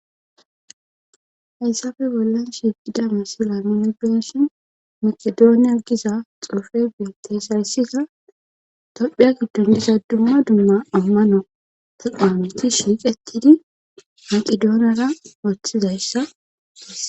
hayssafe bollan shiiqida misila genshin makidooniyaiya giza xoofebia teesarsiza tophiya giddon diza dumma dumma ammano teqnameti shiiqetidi maqidooniyara ooththizayssaess